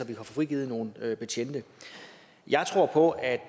kan få frigivet nogle betjente jeg tror på at